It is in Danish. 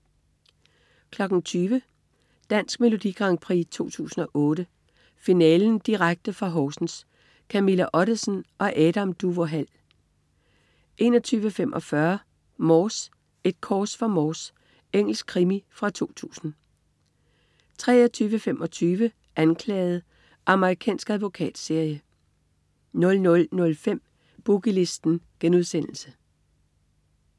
20.00 Dansk Melodi Grand Prix 2008. Finalen. Direkte fra Horsens. Camilla Ottesen og Adam Duvå Hall 21.45 Inspector Morse: Et kors for Morse. Engelsk krimi fra 2000 23.25 Anklaget. Amerikansk advokatserie 00.05 Boogie Listen*